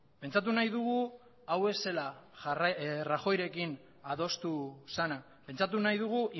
pentsatu nahi dugu hau ez zela rajoyrekin adostu zena pentsatu nahi dugu